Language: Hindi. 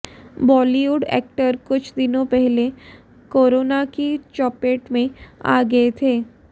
बाॅलीवुड एक्टर कुछ दिनों पहले कोरोना की चपेट में आ गये थे